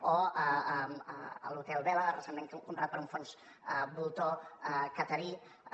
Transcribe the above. o l’hotel vela recentment comprat per un fons voltor qatarià